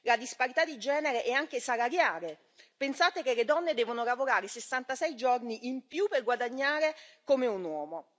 La disparità di genere è anche salariale pensate che le donne devono lavorare 66 giorni in più per guadagnare come un uomo.